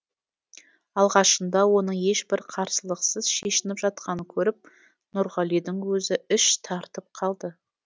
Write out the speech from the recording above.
алғашында оның ешбір қарсылықсыз шешініп жатқанын көріп нұрғалидың өзі іш тартып қалды